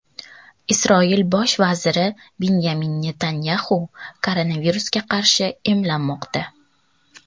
Isroil bosh vaziri Binyamin Netanyaxu koronavirusga qarshi emlanmoqda.